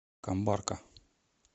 камбарка